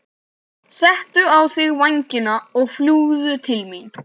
Settu á þig vængina og fljúgðu til mín.